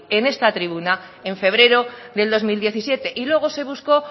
en esta tribuna en febrero del dos mil diecisiete y luego se buscó